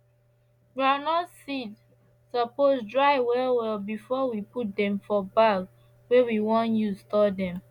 groundnut seed supose dry well well before we put dem for bag wey we want use store dem